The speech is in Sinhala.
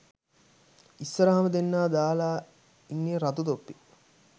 ඉස්සරහම දෙන්නා දාලා ඉන්නෙ රතු තොප්පි